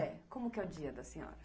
É. Como que é o dia da senhora?